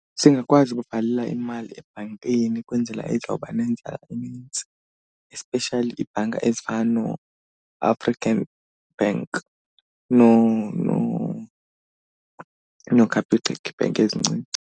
Singakwazi ukuvalela imali ebhankini kwenzela izoba nenzala enintsi, especially iibhanka ezifana nooAfrican bank nooCapitec, iibhenki ezincinci.